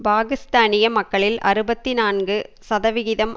பாக்கிஸ்தானிய மக்களில் அறுபத்தி நான்கு சதவிகிதம்